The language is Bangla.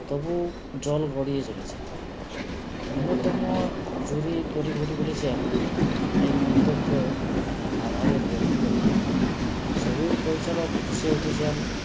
তবু জল গড়িয়ে চলেছে অন্যতম জুড়ি তরিঘড়ি বলেছেন এ মন্তব্য নাধাবের ব্যক্তিগত মত ছবির পরিচালক ফুঁসে উঠেছেন